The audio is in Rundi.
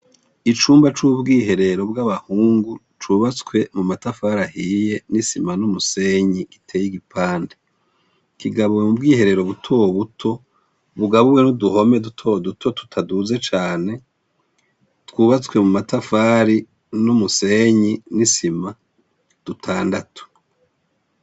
Icumba c'ubwiherero bw'abahungu cubatswe mu matafari ahiye n'isima n'umusenyi giteye igipande. Kigabuwe mu bwiherero buto buto bugabuwe n'uduhome duto duto tutaduze cane, twubatswe mu matafari n'umusenyi n'isima dutandatu.